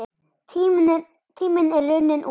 Tíminn er runninn út.